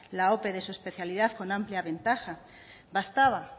la ope de su especialidad con amplia ventaja bastaba